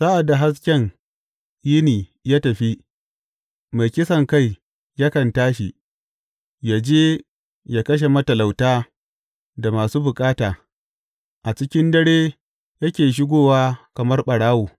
Sa’ad da hasken yini ya tafi, mai kisankai yakan tashi; yă je yă kashe matalauta da masu bukata; a cikin dare yake shigowa kamar ɓarawo.